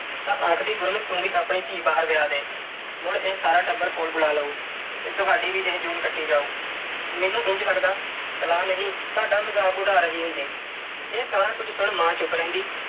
ਤਾਂ ਆਖਦੀ ਗੁਰਮੁਖ ਤੂੰ ਵੀ ਆਪਣੀ ਧੀ ਬਾਹਰ ਵਿਆਹ ਦੇ। ਮੁੜ ਇਹ ਸਾਰਾ ਟੱਬਰ ਕੋਲ ਬੁਲਾ ਲਊ ਤੇ ਤੁਹਾਡੀ ਵੀ ਇਹ ਜੂਨ ਕੱਟੀ ਜਾਉ। ਮੈਨੂੰ ਇੰਝ ਲੱਗਦਾ ਸਲਾਹ ਨਹੀਂ ਸਾਡਾ ਮਜ਼ਾਕ ਉਡਾ ਰਹੀ ਹੁੰਦੀ। ਇਹ ਸਾਰਾ ਕੁਝ ਸੁਣ ਮਾਂ ਚੁੱਪ ਰਹਿੰਦੀ